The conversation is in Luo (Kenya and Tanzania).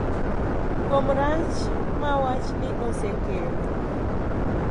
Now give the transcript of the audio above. Kuom rach ma wachni osekelo